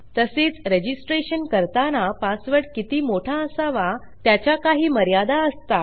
तसेच registrationकरताना पासवर्ड किती मोठा असावा त्याच्या काही मर्यादा असतात